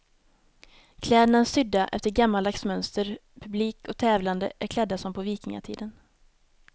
Kläderna är sydda efter gammaldags mönster, publik och tävlande är klädda som på vikingatiden.